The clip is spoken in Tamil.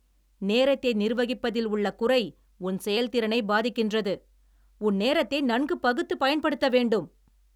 நேரத்தை நிர்வகிப்பதில் உள்ள குறை உன் செயலதிறனைப் பாதிக்கின்றது. உன் நேரத்தை நன்கு பகுத்து பயன்படுத்தவேண்டும்